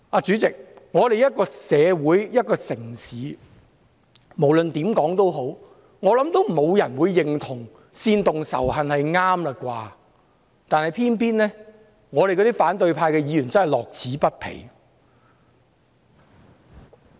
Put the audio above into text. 主席，一個社會、一個城市，無論如何，沒有人會認同煽動仇恨是對的，但偏偏反對派議員樂此不疲。